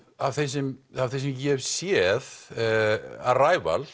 af þeim sem ég hef séð